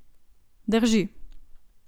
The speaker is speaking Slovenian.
Drži.